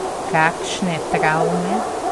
Kakšne travme?